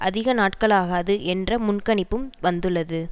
அதிக நாட்களாகாது என்ற முன்கணிப்பும் வந்துள்ளது